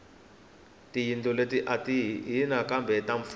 tiyindlo let ahi ta hina kambe ta mfumo